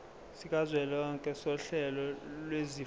sikazwelonke sohlelo lwezifundo